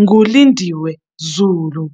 nguLindiwe Zulu.